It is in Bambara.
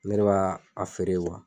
Ne de ba a feere